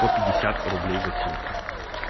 по пятьдесят рублей за симку